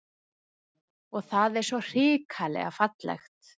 Og það er svo hrikalega fallegt